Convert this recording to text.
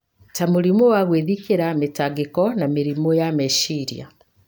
ta mũrimũ wa gwĩthikĩra, mĩtangĩko na mĩrimũ ya meciria.